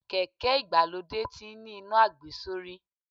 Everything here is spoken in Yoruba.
Kèké ìgbàlódé tí ń ní iná àgbesórí.